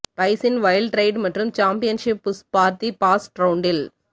ஸ்பைசின் wild ride மற்றும் championship push for the fast ரவுண்டில்